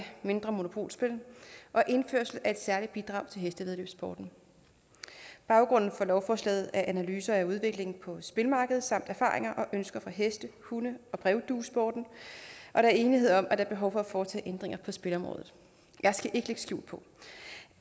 mindre monopolspil og indførelse af et særligt bidrag til hestevæddeløbssporten baggrunden for lovforslaget er analyser af udviklingen på spillemarkedet samt erfaringer og ønsker fra heste hunde og brevduesporten og der er enighed om at der er behov for at foretage ændringer på spilleområdet jeg skal ikke lægge skjul på